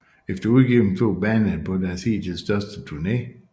Efter udgivelsen tog bandet på deres hidtil største turné